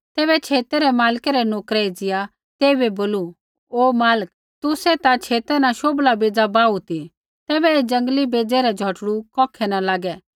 तैबै छेतै रै मालकै रै नोकरै एज़िया तेइबै बोलू हे मालिक तुसै ता छेता न शोभला बै ज़ा बाहू ती तैबै ऐ जंगली बेज़ै रै झ़ोटड़ू कौखै न लागै